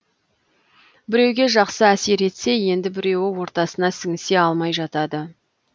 біреуге жақсы әсер етсе енді біреуі ортасына сіңісе алмай жатады